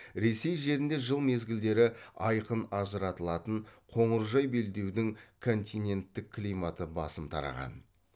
ресей жерінде жыл мезгілдері айқын ажыратылатын қоңыржай белдеудің континенттік климаты басым тараған